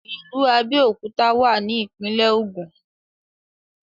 ìlú Abéòkúta wà ní ìpínlẹ̀ Ògùn